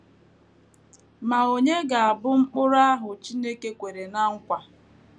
Ma ònye ga - abụ Mkpụrụ ahụ Chineke kwere ná nkwa?